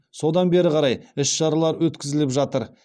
содан бері қарай іс шаралар өткізіліп жатыр